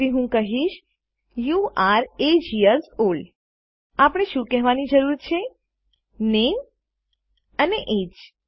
તેથી હું કહી શકું you are age years old આપણે શું કહેવાની જરૂર છે નામે અને એજીઇ